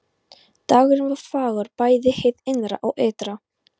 Dagurinn var fagur bæði hið innra og ytra.